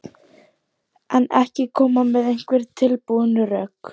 Þorbjörn Þórðarson: En ekki koma með einhver tilbúin rök?